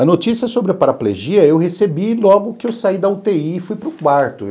A notícia sobre a paraplegia eu recebi logo que eu saí da u tê i e fui para o quarto.